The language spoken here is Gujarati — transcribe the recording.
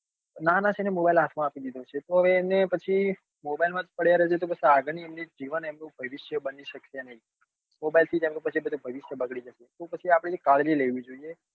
નાના છે ને mobile હાથ માં આપી દીધો તો હવે એમને પછી mobile માં જ પડ્યા રે છે તો પછી આગળ નું એમનું જીવન એમનું ભવિષ્ય બની સક્સે નહિ mobile થી જ એમનું પછી ભવિષ્યબગડી જશે. તો પછી આપડે એમની કાળજી લેવી જોઈએ.